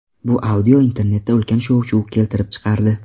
Bu audio internetda ulkan shovshuv keltirib chiqardi.